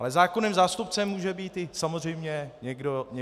Ale zákonným zástupcem může být samozřejmě i někdo jiný.